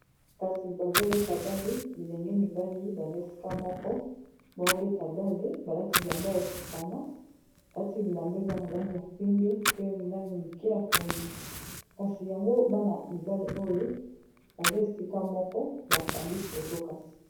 Bilenge mibali batelemi na terrain ya foot, ba kangi foto liboso ba banda ko beta bale. Balati bongo bilamba ya langi ya pembe. Kasi oyo ayambaka bale ye alati bongo langi ya pondu.